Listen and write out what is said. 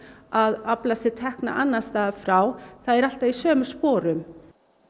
að afla sér tekna annars staðar frá það er alltaf í sömu sporum